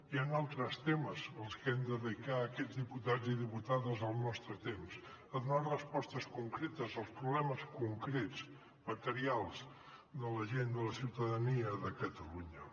hi han altres temes als que hem de dedicar aquests diputats i diputades el nostre temps a donar respostes concretes als problemes concrets materials de la gent de la ciutadania de catalunya